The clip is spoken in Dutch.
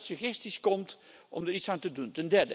Goed dat u met suggesties komt om er iets aan te doen.